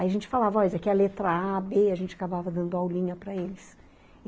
Aí a gente falava, ó, isso aqui é a letra a, bê, a gente acabava dando aulinha para eles.